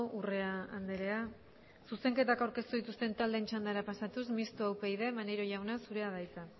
urrea andrea zuzenketak aurkeztu dituzten taldeen txandara pasatuz mistoa upyd maneiro jauna zurea da hitza